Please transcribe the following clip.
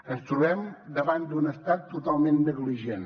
ens trobem davant d’un estat totalment negligent